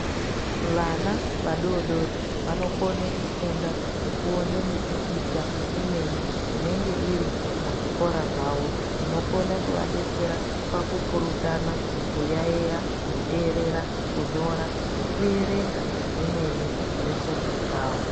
Vana vadodori, vanokone kufunda ngekuwone mipikicha, imweni inenge iri muzvikora zvavo, inokone kuvadetsera pakupurutana, kuyayiya, kuterera, kunyora nekuyerenga zvimweni zvefundo dzavo.